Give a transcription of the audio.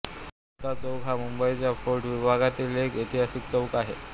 हुतात्मा चौक हा मुंबईच्या फोर्ट विभागातील एक ऐतिहासिक चौक आहे